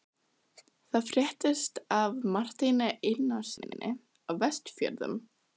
Það fréttist af Marteini Einarssyni á Vestfjörðum.